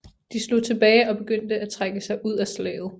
De slog tilbage og begyndte at trække sig ud af slaget